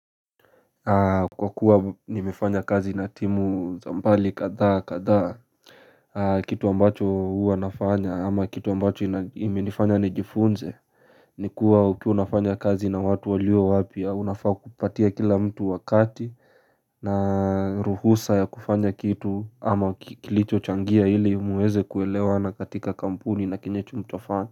Kwa kuwa nimefanya kazi na timu zambali kadhaa kadhaa Kitu ambacho huwa nafanya ama kitu ambacho imenifanya nijifunze Nikuwa ukiwa unafanya kazi na watu walio wapya unafaa kupatia kila mtu wakati na ruhusa ya kufanya kitu ama kilicho changia ili muweze kuelewa na katika kampuni na kinyecho mtofani.